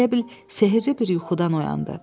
Elə bil sehirli bir yuxudan oyandı.